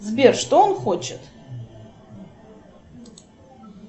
сбер что он хочет